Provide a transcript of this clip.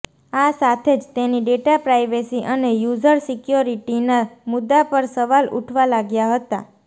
આ સાથે જ તેની ડેટા પ્રાઇવેસી અને યુઝર સિક્યોરિટીના મુદ્દા પર સવાલ ઉઠવા લાગ્યા હતા